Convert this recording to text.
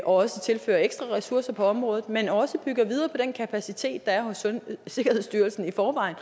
også tilfører ekstra ressourcer på området men også bygger videre på den kapacitet der er hos sikkerhedsstyrelsen i forvejen